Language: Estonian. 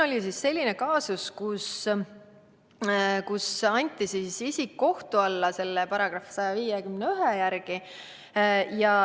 Oli selline kaasus, et isik anti kohtu alla sellesama § 151 järgi.